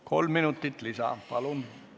Kolm minutit lisa, palun!